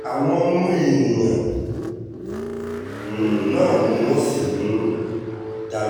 àwọn ọmọ èèyàn um náà ni wọ́n sì um ń darí ìjọba